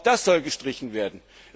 Auch das soll gestrichen werden.